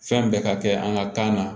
Fɛn bɛɛ ka kɛ an ka kan na